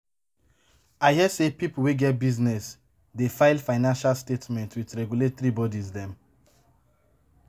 I hear sey pipo wey get business dey file financial statement with regulatory bodies dem.